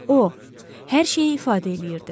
O, hər şeyi ifadə eləyirdi.